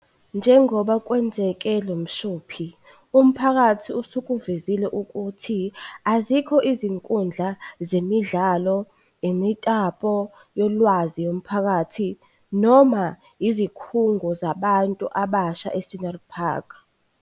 Njengoba kwenzeke lo mshophi, umphakathi usukuvezile ukuthi azikho izinkundla zemidlalo, imitapo yolwazi yomphakathi noma izikhungo zabantu abasha e-Scenery Park.